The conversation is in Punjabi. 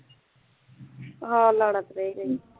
ਆਹ